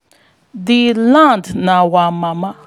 di land na our mama